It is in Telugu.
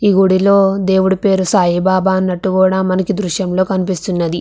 ఈ గుడిలో దేవుడి పేరు సాయి బాబా అన్నట్టు కూడా మనకు దృశ్యంలో కనిపిస్తున్నది.